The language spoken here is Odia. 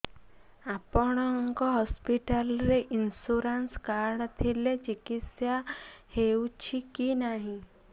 ଆପଣଙ୍କ ହସ୍ପିଟାଲ ରେ ଇନ୍ସୁରାନ୍ସ କାର୍ଡ ଥିଲେ ଚିକିତ୍ସା ହେଉଛି କି ନାଇଁ